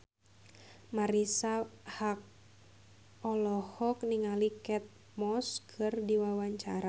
Marisa Haque olohok ningali Kate Moss keur diwawancara